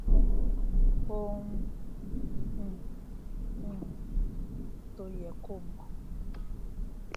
òun um um tó yẹ kó mọ